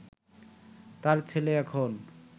তাঁর ছেলে এখন